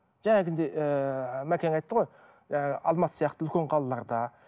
ыыы мәкең айтты ғой ы алматы сияқты үлкен қалаларда